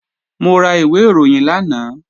Mo ra ìwé ìròyìn lánàá